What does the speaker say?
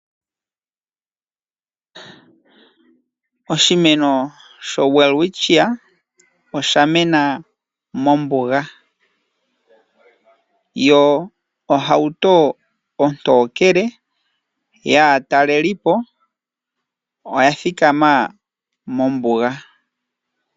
Oshimeno sho Welwitchia ohashi adhika mombuga. Oshimeno shino ohashi hili aatalelipo yeye moshilongo shetu nokomukalo nguno ngeke aatalelipo ta yeya ohaya futu iimaliwa mbyono hayi gwedha keliko lyoshilongo.